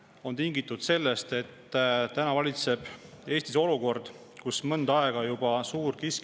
See on tingitud sellest, et Eestis valitseb olukord, kus suurkiskjate arvukus on juba mõnda aega kasvanud.